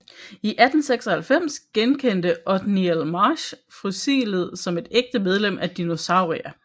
I 1896 genkendte Othniel Marsh fossilet som et ægte medlem af Dinosauria